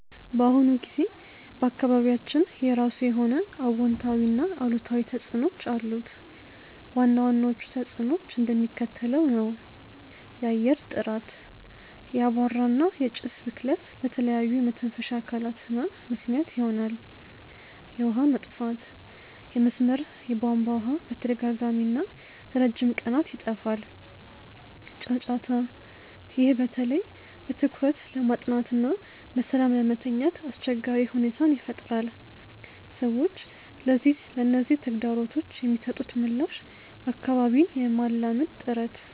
በአሁኑ ጊዜ በአካባቢያችን የራሱ የሆነ አዎንታዊና አሉታዊ ተጽዕኖዎች አሉት። ዋና ዋናዎቹ ተጽዕኖዎች እንደሚከተለው ነው፦ የአየር ጥራት፦ የአቧራ እና የጭስ ብክለት ለተለያዩ የመተንፈሻ አካላት ህመም ምክንያት ይሆናል። የውሃ መጥፋት፦ የመስመር የቧንቧ ውሃ በተደጋጋሚና ለረጅም ቀናት ይጠፋል። ጫጫታ፦ ይህ በተለይ በትኩረት ለማጥናትና በሰላም ለመተኛት አስቸጋሪ ሁኔታን ይፈጥራል። ሰዎች ለነዚህ ተግዳሮቶች የሚሰጡት ምላሽ አካባቢን የማላመድ ጥረት፦